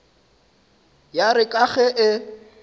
ya re ka ge e